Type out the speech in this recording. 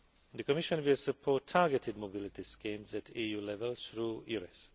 The Commission will support targeted mobility schemes at EU level through EURES.